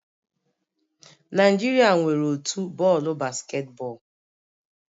Naijiria nwere otu bọọlụ basketball